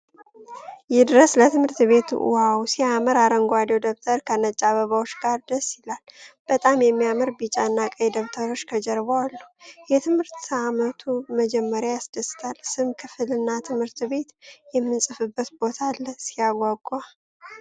ይድረስ ለትምህርት ቤት! ዋው ሲያምር! አረንጓዴው ደብተር ከነጭ አበባዎች ጋር ደስ ይላል። በጣም የሚያምሩ ቢጫ እና ቀይ ደብተሮች ከጀርባው አሉ። የትምህርት ዓመቱ መጀመር ያስደስታል። ስም፣ ክፍል እና ትምህርት ቤት የምንጽፍበት ቦታ አለ። ሲያጓጓ!